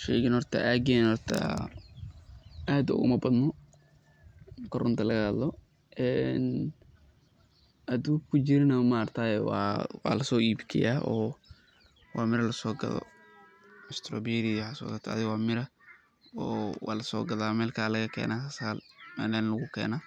Sheygan horta aageyna aad ooguma badno, marki runta laga hadlo, haduu jirana waa lasoo iib geeya oo waa mira lasoo gado, waa mira oo waa lasoo gadaa meel kale ayaa laga keena,